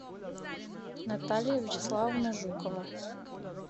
наталья вячеславовна жукова